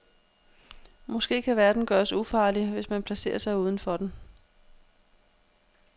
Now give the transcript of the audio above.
Måske kan verden gøres ufarlig, hvis man placerer sig uden for den.